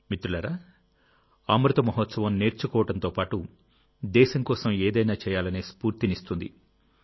మిత్రులారాఅమృత మహోత్సవంనేర్చుకోవడంతో పాటు దేశం కోసం ఏదైనా చేయాలనే స్ఫూర్తినిస్తుంది